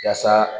Yasa